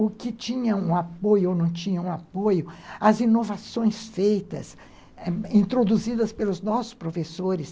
o que tinha um apoio ou não tinha um apoio, as inovações feitas, introduzidas pelos nossos professores.